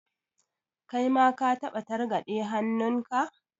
Kai ma ka taɓa targaɗe hannunka?